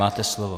Máte slovo.